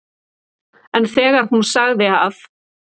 En þegar hún sagði að